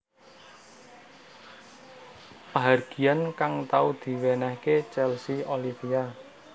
Pahargyan kang tau diwenehake Chelsea Olivia